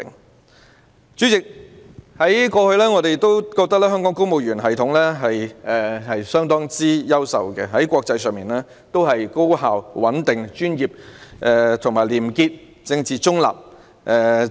代理主席，我們過去認為，香港的公務員系統相當優秀，給予國際社會的印象是高效、穩定、專業、廉潔和政治中立。